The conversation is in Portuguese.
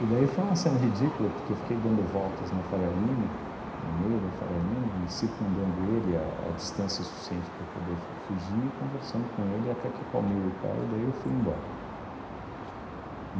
E daí foi uma cena ridícula, porque eu fiquei dando voltas na Faria Lima, no meio da Faria Lima, e circundando ele à à distância suficiente para eu poder f fugir, e conversando com ele, até que eu calmei o cara, daí eu fui embora.